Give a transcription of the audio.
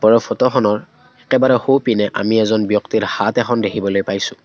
আৰু ফটোখনৰ একেবাৰে সোঁপিনে আমি এজন ব্যক্তিৰ হাত এখন দেখিবলৈ পাইছোঁ।